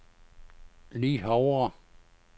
Le Havre